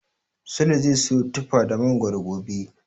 Sule zai siyo tufa da mangoro gobe.